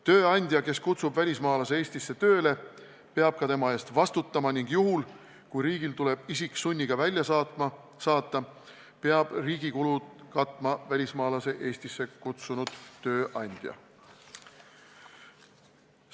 Tööandja, kes kutsub välismaalase Eestisse tööle, peab tema eest ka vastutama ning juhul, kui riigil tuleb isik sunniga välja saata, peab riigi kulud katma välismaalase Eestisse kutsunud tööandja.